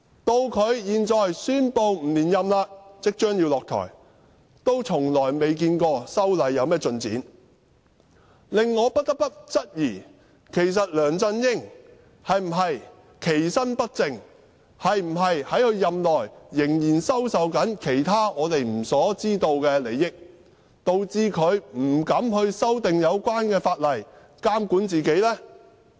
到他現在宣布不連任，即將下台，仍未看到修例一事有何進展，令我不得不質疑，其實梁振英是否其身不正，是否在任內仍在收受其他我們不知道的利益，導致他不敢修訂有關法例來監管自己呢？